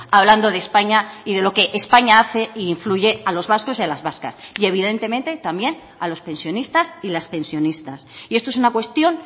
hablando de españa y de lo que españa hace e influye a los vascos y a las vascas y evidentemente también a los pensionistas y las pensionistas y esto es una cuestión